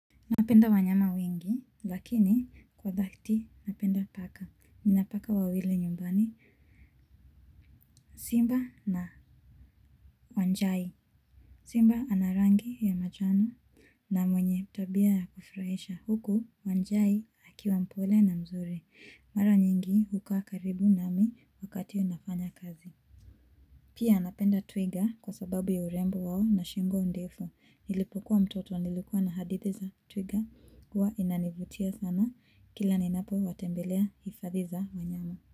Napenda wanyama wengi, lakini kwa dhati napenda paka. Nina paka wawili nyumbani, Simba na Wanjai. Simba ana rangi ya manjano na mwenye tabia ya kufurahisha. Huku, Wanjai hakiwa mpole na mzuri. Mara nyingi hukaa karibu nami wakati nafanya kazi. Pia napenda twiga kwa sababu ya urembo wao na shingo ndefu. Nilipokuwa mtoto nilikuwa na hadithi za twiga. Huwa inanivutia sana kila ninapo watembelea hifadhi za wanyama.